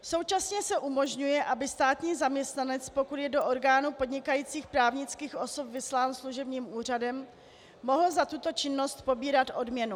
Současně se umožňuje, aby státní zaměstnanec, pokud je do orgánu podnikajících právnických osob vyslán služebním úřadem, mohl za tuto činnost pobírat odměnu.